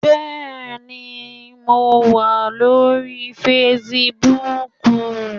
Bẹ́ẹ̀ni, mo wà lórí facebook